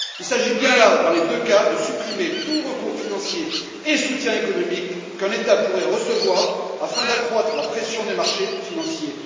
Il s'agit bien là, dans les deux cas, de supprimer tout recours financier et soutien économique qu'un État pourrait recevoir, afin d'accroître la pression des marchés financiers.